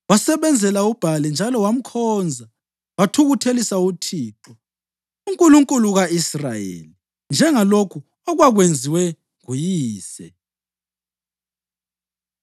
Wasebenzela uBhali njalo wamkhonza wathukuthelisa uThixo, uNkulunkulu ka-Israyeli, njengalokhu okwakwenziwe nguyise.